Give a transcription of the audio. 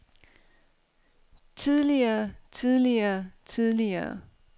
tidligere tidligere tidligere